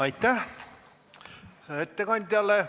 Aitäh ettekandjale!